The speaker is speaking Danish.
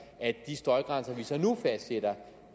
at de støjgrænser vi så nu fastsætter